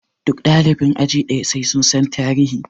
Duk ɗalibin aji ɗaya sai sun san tarihi!